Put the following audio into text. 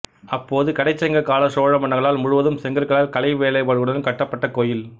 அப்போது கடைச்சங்க காலச் சோழ மன்னர்களால் முழுவதும் செங்கற்களால் கலை வேலைபாடுகளுடன் கட்டப்பட்ட கோயில்